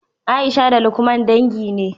Aisha da lukman dangi ne